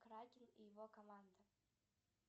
кракен и его команда